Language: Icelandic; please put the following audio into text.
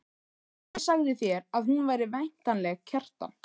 En ég sagði þér að hún væri væntanleg, Kjartan.